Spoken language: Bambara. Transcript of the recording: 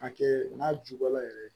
Hakɛ n'a jubɔla yɛrɛ